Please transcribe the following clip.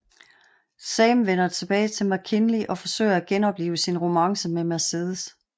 Sam vender tilbage til McKinley og forsøger at genoplive sin romance med Mercedes